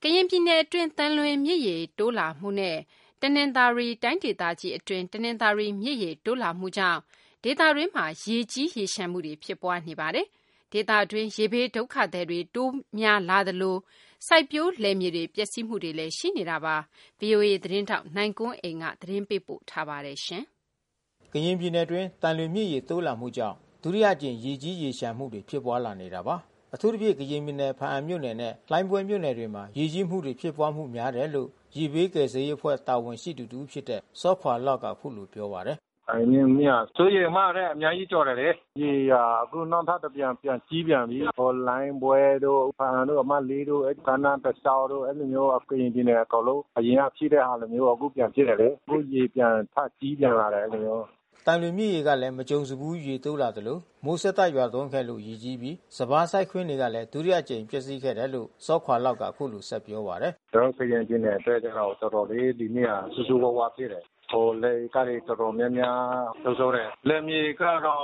ကရင်ပြည်နယ်အတွင်းသံလွင်မြစ်ရေတိုးလာမှုနဲ့ တနင်္သာရီတိုင်းဒေသကြီးအတွင်းတနင်္သာရီမြစ်ရေ တိုးလာမှု ကြောင့် ဒေသအတွင်းမှာရေကြီးမှုတွေဖြစ်ပွါးနေတာပါ။ ဒေသအတွင်းရေဘေးဒုက္ခသည်တွေတိုးပွါးလာနေသလို စိုက်ပျိုးလယ်မြေတွေပျက်စီးမှုတွေလဲရှိနေပါတယ်။ ဗွီအိုအေသတင်းထောက်နိုင်ကွန်းအိန်ကနေသတင်းပေးပို့ ထားပါတယ်။ ကရင်ပြည်နယ်အတွင်း သံလွင်မြစ်ရေတိုးလာမှုကြောင့် ဒုတိယအကြိမ်ရေကြီးရေလျှံမှုတွေဖြစ်ပွါးလာနေတာပါ။ အထူးသဖြင့်ကရင်ပြည်နယ် ဖါးအံမြို့နယ်နဲ့လှိုင်းပွဲမြို့နယ်တွေမှာ ရေကြီးမှုတွေဖြစ်ပွါးမှုများတယ်လို့ ရေဘေး ကယ်ဆယ်ရေးအဖွဲ့တာဝန်ရှိသူတဦးဖြစ်တဲ့ စောခွါ့လောက်က အခုလိုပြောပါတယ်။ 'သံလွင်မြစ်က စိုးရိမ်အမှတ်ထက်အများကြီးကျော်တယ်လေ။ ရေကအခုနောက်ထပ်တဖန်ပြန်ကြီးပြန်ပြီး။ လှိုင်းပွဲ တို့ ဖါးအံတို့အမှတ် တို့ ကမ်းနားတလျောက်တို့ အဲဒီလိုမျိုး ကရင်ပြည်နယ်အကုန်လုံး အရင်ကရှိတဲ့ဟာလိုမျိုး အခုပြန်ဖြစ်တယ်လ။ အခုရေပြန်ထကြီးလာပြန်တယ်အဲဒီလိုမျိုး။" သံလွင်မြစ်ရေကလဲမကြုံစဘူးရေတိုးလာသလို မိုးဆက်တိုက်ရွာသွန်းခဲ့လို့ ရေကြီးပြီး စပါးစိုက်ခင်းတွေကလဲ ဒုတိယအကြိမ်ပျက်စီးခဲ့တယ်လို့ စောခွါ့လောက်က အခုလိုဆက်ပြောပါတယ်။ "ကျွန်တော်တို့ကရင်ပြည်နယ်အတွက်ကျတော့ တော်တော်လေး ဒီနှစ်ဟာဆိုးဆိုးဝါးဝါးဖြစ်တယ်။ လယ်ဧကတွေ တော်တော်များများဆုံးရှုံးတယ်။ လယ်မြေဧကကတော့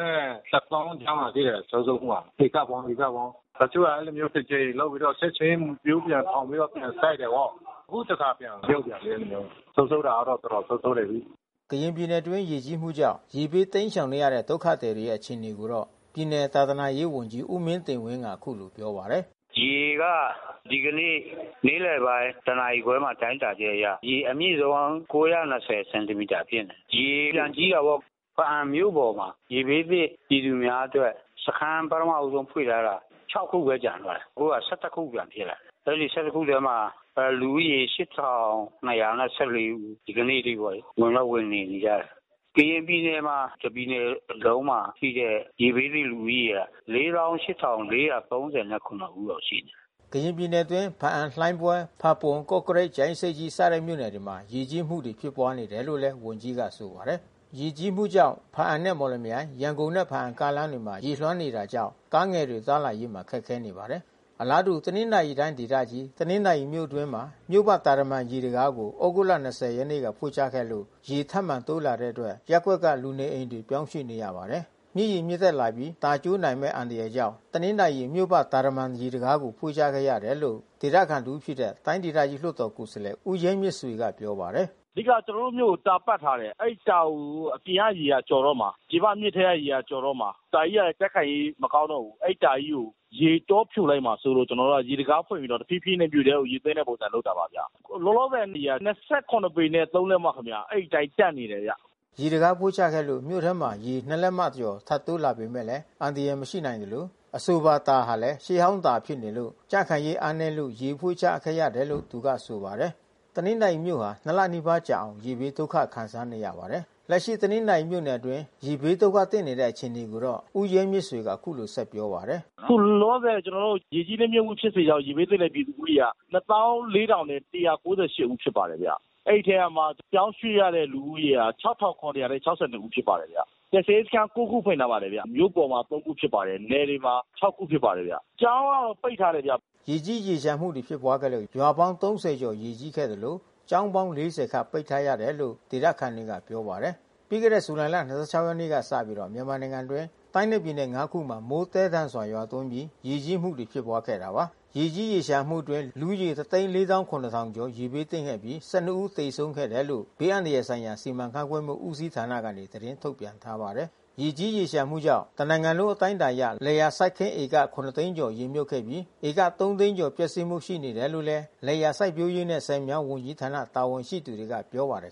နဲ့တသောင်းကြားမှာရှိတယ်ဆုံးရှုံးမှုက ဧကပေါင်း။ တချို့ကတကြိမ်လုပ်မြုတ်ပြီးတော့ချက်ချင်းမျိုးပြန်ထောင်ပြီးတော့ပြန်စိုက်တာပေါ့။ အခုတဖန်ပြန်မြုတ်ပြန်ပြီး အဲဒီ လိုမျိုး။ ဆုံးရှုံးတာတော့တော်တော်ဆုံးရှုံးနေပြီး။" ကရင်ပြည်နယ်အတွင်းရေကြီးမှုကြောင့် ရေဘေးတိမ်းရှောင်နေရတဲ့ဒုက္ခသည်တွေရဲ့အခြေအနေကိုတော့ ပြည်နယ်သာသနာရေးဝန်ကြီး ဦးမင်းတင်ဝင်းကအခုလိုပြောပါတယ်။ "ရေက ဒီကနေ့နေ့လယ်ပိုင်းတနာရီခွဲတိုင်းတာချက်အရ ရေအမြင့်ဆုံး စင်တီမိတာဖြစ်နေတယ်။ ရေပြန်ကြီး တာပေါ့။ ဘားအံမြို့ပေါ်မှာရေဘေးသင့်ပြည်သူများအတွက် စခမ်းပထမဦးဆုံးဖွင့်ထားတာ ခုဘဲကျန်တော့တာ။ အခုက ခုပြန်ဖြစ်နေတယ်။ အဲဒီ ထဲမှာ လူဦးရေ ဦး ဒီကနေ့အထိပေါ့လေ။ ဝင်တော့ဝင်နေပြီးသား။ ကရင်ပြည်နယ်မှာ တပြည်နယ်လုံးမှာရှိတဲ့ ရေဘေးသင့်လူဦးရေက ဦးလောက်ရှိတယ်။" ကရင်ပြည်နယ်အတွင်း ဘားအံ လှိုင်းပွဲ ဖါးပွန် ကော့ကရိတ် ကြာအင်းဆိပ်ကြီးစတဲ့မြို့နယ်တွေမှာ ရေကြီးမှုတွေ ဖြစ်ပွါးနေတယ်လို့ဝန်ကြီးကဆိုပါတယ်။ ရေကြီးမှုကြောင့် ဘားအံနဲ့မော်လမြိုင် ရန်ကုန်နဲ့ဘားအံကားလမ်းမှာရေလွှမ်းနေတာကြောင့် ကားငယ်တွေသွား လာရေး ခက်ခဲနေပါတယ်။ အလားတူ တနင်္သာရီတိုင်းဒေသကြီး တနင်္သာရီမြို့အတွင်းမှာ မြို့ပတ်တာတမံရေတံခါးကို သြဂုတ် ၂၀ ရက် က ဖွင့်ချခဲ့လို့ရေထပ်မံတိုးလာတဲ့အတွက် ရပ်ကွက်က လူနေအိမ်တွေကိုပြောင်းရွှေ့နေရပါတယ်။ မြစ်ရေမြင့်တက်လာပြီး တာကျိုးနိုင်မဲ့အန္တရာယ်ကြောင့် တနင်္သာရီမြို့ပတ်တာတမံရေတံခါးကို ဖွင့်ချခဲ့ရတယ်လို့ ဒေသခံတဦးဖြစ်တဲ့တိုင်းဒေသကြီးလွှတ်တော်ကိုယ်စားလှယ် ဦးရဲမြင့်ဆွေကပြောပါတယ်။ "အဓိကကျွန်တော်တို့မြို့ကိုတာပတ်ထားတယ်။ အဲဒီတာကိုအပြင်ကရေကျော်တော့မှာ။ ပြင်ပမြစ်ထဲကရေကျော် တော့မှာ။ တာကြီးကလဲကြံ့ခိုင်ရေးမကောင်းတော့ဘူး။ အဲဒီတာကြီးကိုရေကြောဖြိုလိုက်မှာစိုးလို့ ကျွန်တော်တို့က ရေတံခါးဖွင့်ပြီးတော့တဖြည်းဖြည်းနဲ့မြို့ထဲရေသွင်းတဲ့ပုံစံလုပ်တာပါဗျ။ လောလောဆယ်ရေက ပေနဲ့ လက် မ ခင်ဗျ။ အဲဒီအတိုင်းတန့်နေတယ်။" ရေတံခါးဖွင့်ချခဲ့လို့ မြို့ထဲမှာရေ ၂ လက်မကျော်ထပ်တိုး လာပေမဲ့အန္တရာယ်မရှိနိုင်သလို အဆိုပါတာဟာလဲ ရှေးဟောင်းတာဖြစ်နေလို့ ကြံ့ခိုင်ရေးအားနဲလို့ရေဖွင့်ချခဲ့တယ်လို့သူကဆိုပါတယ်။ တနင်္သာရီမြို့ဟာ၂ လနီးပါးကြာအောင် ရေဘေးဒုက္ခခံစားနေရပါတယ်။ လက်ရှိတနင်္သာရီမြို့နယ်အတွင်းရေဘေးဒုက္ခသင့်နေတဲ့အခြေအနေကိုတော့ ဦးရဲမြင့်ဆွေကအခုလိုဆက် ပြော ပါတယ်။ "ခုလောလောဆယ် ရေကြီးနစ်မြုတ်မှုဖြစ်စေကြောင့်ရေဘေးသင့်ပြည်သူဦးရေက ဦးဖြစ်ပါတယ်။ အဲဒီထဲ ကမှ ပြောင်းရွှေ့ရတဲ့လူဦးရေက ဦးဖြစ်ပါတယ်ခင်ဗျ။ ကယ်ဆယ်ရေးစခမ်း ခုဖွင့်ထားပါတယ်ခင်ဗျ။ မြို့ပေါ်မှာ ခုနယ်တွေမှာ ခုဖြစ်ပါတယ်ဗျ။ ကျောင်းကတော့ပိတ်ထားတယ်ဗျ။" ရေကြီးရေလျံှမှုဖြစ်ပွါးခဲ့လို့ရွာပေါင်း ကျော်ရေကြီးခဲ့သလို ကျောင်းပေါင်း ခန့်ပိတ်ထားရတယ်လို့ဒေသ ခံ တွေကပြောပါတယ်။ ပြီးခဲ့တဲ့ဇူလိုင်လ ရက်နေ့ကစပြီး မြန်မာနိုင်ငံအတွင်းတိုင်းနဲ့ပြည်နယ် ခုမှာ မိုးသဲထန်စွာရွာသွန်းပြီး ရေကြီးမှု တွေဖြစ်ပွါးခဲ့တာပါ။ ဒီရေကြီးရေလျှံမှုအတွင်း လူဦးရေ ကျော် ရေဘေးသင့်ခဲ့ပြီး ဦးသေဆုံးခဲ့တယ်လို့ ဘေး အန္တရာယ်ဆိုင်ရာ စီမံခန့်ခွဲမှုဦးစီးဌာနကနေ သတင်းထုတ်ပြန် ထားပါတယ်။ ရေကြီးရေလျှံမှုကြောင့် တနိုင်ငံလုံးအတိုင်းအတာအရ လယ်ယာစိုက်ခင်း ဧက သိန်းကျော် ရေမြုပ်ခဲ့ပြီး ဧက သိန်းကျော်ပျက်စီးမှုရှိနေတယ်လို့ လယ်ယာစိုက်ပျိုးရေးနဲ့ဆည်မြောင်းဝန်ကြီးဌာနတာဝန်ရှိသူတွေကပြော ပါတယ်